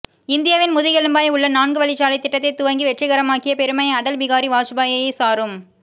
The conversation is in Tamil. இந்தியாவின் முதுகெலும்பாய் உள்ள நான்கு வழி சாலை திட்டத்தை துவங்கி வெற்றிகரமாக்கிய பெருமை அடல் பிகாரி வாஜ்பாயையே சாரும்